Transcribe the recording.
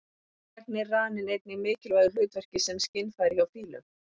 Nú gegnir raninn einnig mikilvægu hlutverki sem skynfæri hjá fílum.